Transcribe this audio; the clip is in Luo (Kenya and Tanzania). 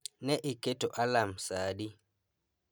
Ne iketo alarm saa adi?